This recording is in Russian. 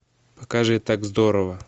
покажи так здорово